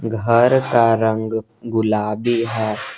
घर का रंग गुलाबी है।